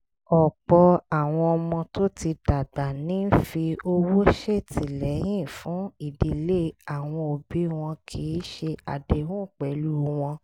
ọ̀pọ̀ àwọn ọmọ tó ti dàgbà ní ń fi owó ṣètìlẹ́yìn fún ìdílé àwọn òbí wọn kì í ṣe àdéhùn pẹ̀lú wọn